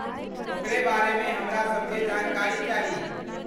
ओकरे बारेमे हमरासभकेँ जानकारी चाही।